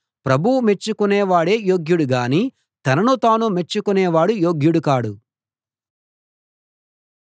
ప్రభువు మెచ్చుకొనే వాడే యోగ్యుడు గానీ తనను తానే మెచ్చుకొనేవాడు యోగ్యుడు కాడు